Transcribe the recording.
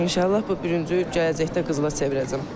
İnşallah bu bürüncü gələcəkdə qızıla çevirəcəm.